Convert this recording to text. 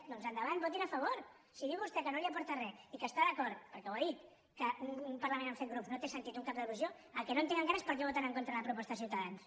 doncs endavant votin hi a favor si diu vostè que no li aporta re i que està d’acord perquè ho ha dit que en un parlament amb set grups no té sentit un cap de l’oposició el que no entenc encara és per què voten en contra de la proposta de ciutadans